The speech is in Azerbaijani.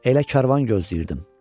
Elə karvan gözləyirdim.